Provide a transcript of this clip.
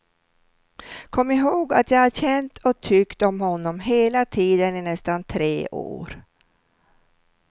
Kom ihåg att jag har känt och tyckt om honom hela tiden i nästan tre år.